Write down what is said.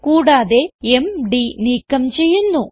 കൂടാതെ എംഡി നീക്കം ചെയ്യുന്നു